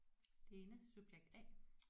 Lene subjekt A